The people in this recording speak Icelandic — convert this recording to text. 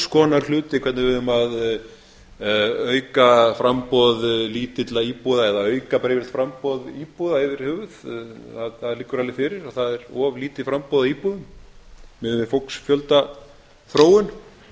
konar hluti hvernig við eigum að auka framboð lítilla íbúða eða auka bar yfirleitt framboð íbúða yfir höfuð það liggur alveg eftir á það er of lítið framboð af íbúðum miðað við fólksfjöldaþróun það